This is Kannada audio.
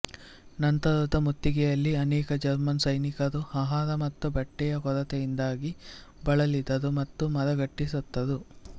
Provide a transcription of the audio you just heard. ನಂತರದ ಮುತ್ತಿಗೆಯಲ್ಲಿ ಅನೇಕ ಜರ್ಮನ್ ಸೈನಿಕರು ಅಹಾರ ಮತ್ತು ಬಟ್ಟೆಯ ಕೊರತೆಯಿಂದಾಗಿ ಬಳಲಿದರು ಮತ್ತು ಮರಗಟ್ಟಿ ಸತ್ತರು